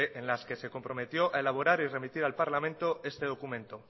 en las que se comprometió en elaborar y remitir al parlamento este documento